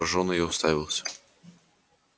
поражённый я уставился